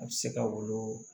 A bɛ se ka wolo